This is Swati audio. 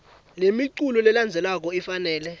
lemiculu lelandzelako kufanele